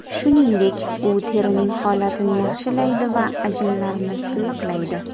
Shuningdek, u terining holatini yaxshilaydi va ajinlarni silliqlaydi.